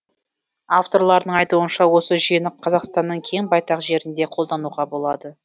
авторларының айтуынша осы жүйені қазақстанның кең байтақ жерінде қолдануға болады